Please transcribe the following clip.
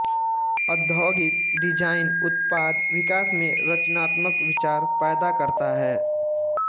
औद्योगिक डिज़ाइन उत्पाद विकास में रचनात्मक विचार पैदा करता है